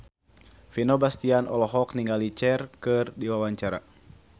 Vino Bastian olohok ningali Cher keur diwawancara